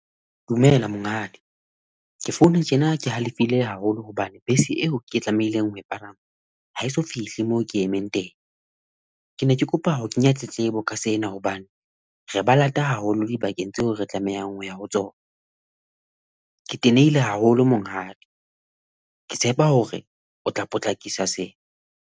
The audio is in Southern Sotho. Dumela Monghadi. Ke founa tjena ke halefile haholo hobane bese eo ke tlamehileng ho e palama ha eso fihle moo ke emeng teng. Ke ne ke kopa ho kenya tletlebo ka sena, hobane re ba lata haholo dibakeng tseo re tlamehang hoya ho tsona. Ke tenehile haholo Monghadi, Ke tshepa hore o tla potlakisa sena.